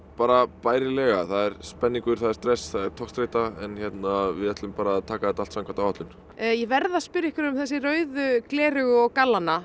bærilega það er spenningur stress togstreita en við ætlum að taka þetta allt samkvæmt áætlun ég verð að spyrja um þessi rauðu gleraugu og gallana